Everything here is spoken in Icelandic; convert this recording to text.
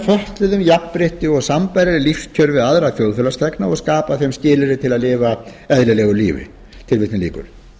fötluðum jafnrétti og sambærileg lífskjör við aðra þjóðfélagsþegna og skapa þeim skilyrði til að lifa eðlilegu lífi þrátt fyrir